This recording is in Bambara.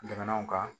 Jamanaw kan